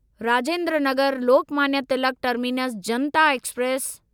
Rajendra Nagar Lokmanya Tilak terminus Janata express